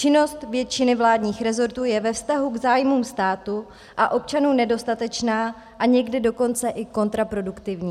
Činnost většiny vládních rezortů je ve vztahu k zájmům státu a občanů nedostatečná a někdy dokonce i kontraproduktivní.